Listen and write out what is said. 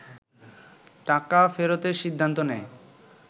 টাকা ফেরতের সিদ্ধান্ত নেয়